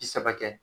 Bi saba kɛ